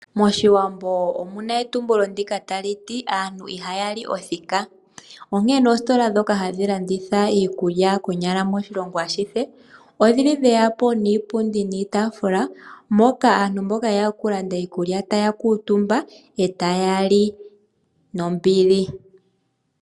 Moshiwambo omuna etumbulo ndika hali to aantu ihaya li othika, onkene oositola adhihe shoka hadhi landitha iikulya moshilongo ashihe, oshili sheya po niipundi niitaafula, poka aantu mbo ye ya oku landa iikulya taya kuutumba e taya li nombili.